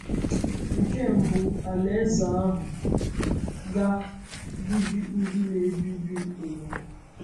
Nke mbụ, Alaeze ahụ ga “bibi ndị na-ebibi ụwa.” ụwa.”